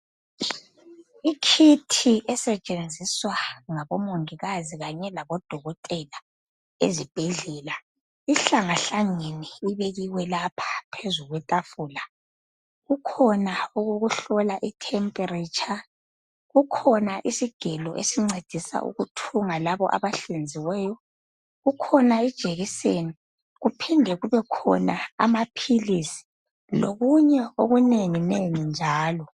Ikhithi esetshenziswa ngabomongikazi labodokotela ezibhedlela ihlangahlangene ibekiwe lapha phezu kwetafula. Kukhona okokuhlola i temperature, kukhona isigelo esincedisa ukuthunga labo abahlinziweyo kukhona ijekiseni kuphinde kubekhona amaphilisi lokunye okunengi nengi njalo